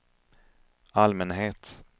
allmänhet